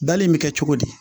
Dali in bɛ kɛ cogo di